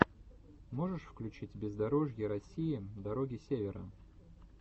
можешь включить бездорожье россии дороги севера